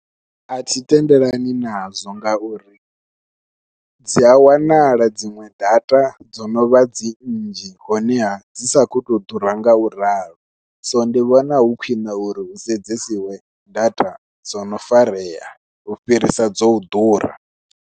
Athi tendelani nazwo ngauri dzia wanala dziṅwe data dzo novha dzi nnzhi honeha dzi sa khou tou ḓura ngauralo so ndi vhona hu khwiṋe uri hu sedzesiwe data dzo no farea u fhirisa dzo u ḓura.